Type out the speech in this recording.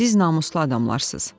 Siz namuslu adamlarsız.